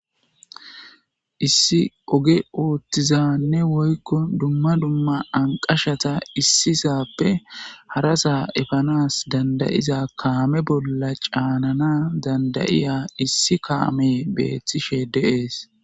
Issi oge ooththizaanne woykko dumma dumma anqashata issisaappe harasa efanas danda7iza kaame bolla caanana danda7iya issi kaame beethishe de7ees.